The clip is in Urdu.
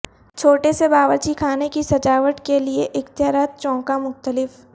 چھوٹے سے باورچی خانے کی سجاوٹ کے لئے اختیارات چونکا مختلف